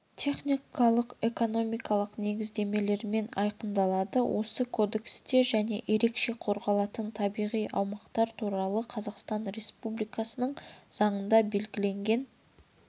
техникалық-экономикалық негіздемелермен айқындалады осы кодексте және ерекше қорғалатын табиғи аумақтар туралы қазақстан республикасының заңында белгіленген